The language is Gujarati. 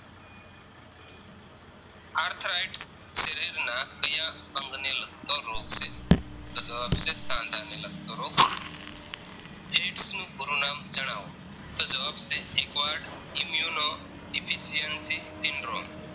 તો રોગ છે. તો જવાબ છે સાંધાને લગતો રોગ Aids નું પૂરું નામ જણાવો તો જવાબ છે Acquired Immune Deficiency Syndrome